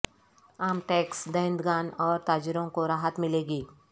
عام ٹیکس دہندگان اور تاجروں کو راحت ملے گی